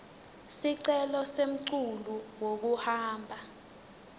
sicelo semculu wekuhamba